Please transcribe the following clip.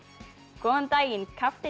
góðan daginn